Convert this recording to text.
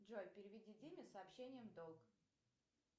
джой переведи диме с сообщением долг